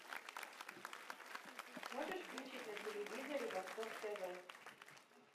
можешь включить на телевизоре восток тв